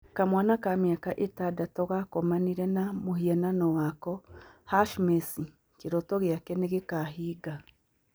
"Kamwana ka mĩaka ĩtandatũ gakomanire na mũhianano wako, #Messi, kĩroto gĩake nĩ gĩkahinga."